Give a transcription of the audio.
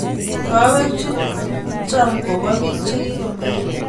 Kawek chu cham ko pa pik che kikomeiyo.